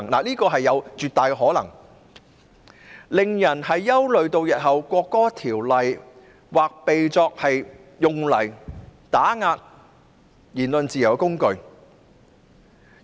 這是有絕大可能發生的，因而令人憂慮《條例草案》日後或會被用作打壓言論自由的工具。